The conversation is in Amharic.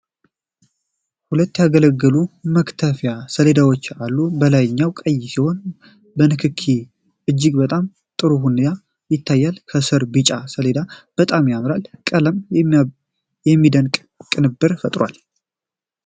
ሁለት ያገለገሉ መክተፊያ ሰሌዳዎች አሉ። የላይኛው ቀይ ሲሆን በንክኪ እጅግ በጣም ጥሩ ሆኖ ይታያል። ከስር ቢጫ ሰሌዳው በጣም ያምራል። ቀለማቱ የሚደንቅ ቅንብር ፈጥረዋል።